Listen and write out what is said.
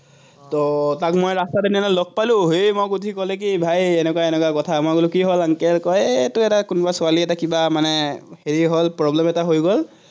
তাক মই ৰাস্তাত লগ পালো, সি মোক সুধি ক'লে কি, ভাই এনেকুৱা এনেকুৱা কথা, মই বোলো কি হ'ল এৰ কোনোবা এটা ছোৱালী এটা কিবা মানে, হেৰি হ'ল, problem এটা হৈ গল